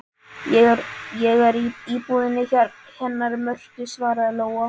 Ég er í íbúðinni hennar Mörtu, svaraði Lóa.